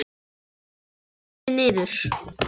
Rak stélið niður